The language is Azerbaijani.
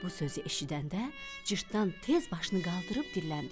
Bu sözü eşidəndə Cırtdan tez başını qaldırıb dilləndi.